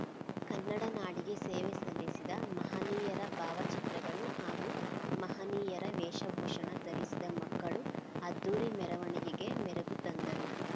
ಕನ್ನಡ ನಾಡಿಗೆ ಸೇವೆ ಸಲ್ಲಿಸಿದ ಮಹನಿಯರ ಭಾವಚಿತ್ರಗಳು ಹಾಗೂ ಮಹನಿಯರ ವೇಶಭೂಷಣ ಧರಿಸಿದ ಮಕ್ಕಳು ಅದ್ಧೂರಿ ಮೆರವಣಿಗೆಗೆ ಮೆರಗು ತಂದರು